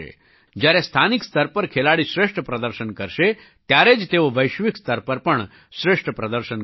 જ્યારે સ્થાનિક સ્તર પર ખેલાડી શ્રેષ્ઠ પ્રદર્શન કરશે ત્યારે જ તેઓ વૈશ્વિક સ્તર પર પણ શ્રેષ્ઠ પ્રદર્શન કરશે